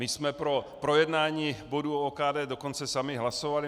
My jsme pro projednání bodu o OKD dokonce sami hlasovali.